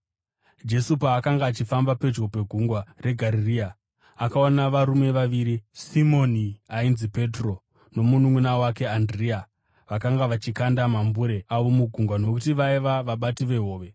Jesu paakanga achifamba pedyo negungwa reGarirea, akaona varume vaviri, Simoni ainzi Petro nomununʼuna wake Andirea. Vakanga vachikanda mambure avo mugungwa nokuti vaiva vabati vehove.